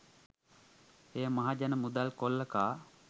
එය මහජන මුදල් කොල්ල කා